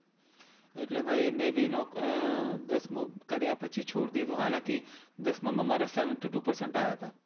એટલે ભાઈ મેં ભી નોક અમ દસમું કર્યા પછી છોડી દીધું, હાલાંકિ દસમાં મારા seventy two percent આયા તા.